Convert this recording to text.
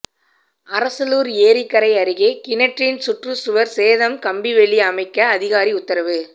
அரசலூர் ஏரிக்கரை அருகில் கிணற்றின் சுற்றுச்சுவர் சேதம் கம்பிவேலி அமைக்க அதிகாரி உத்தரவு